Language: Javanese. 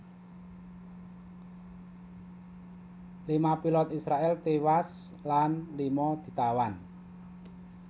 Lima pilot Israèl tiwas lan lima ditawan